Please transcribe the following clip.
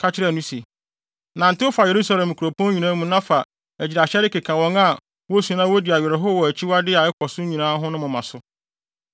ka kyerɛɛ no se, “Nantew fa Yerusalem nkuropɔn nyinaa mu na fa agyiraehyɛde keka wɔn a wosu na wodi awerɛhow wɔ akyiwadeyɛ a ɛkɔ so nyinaa ho no moma so.”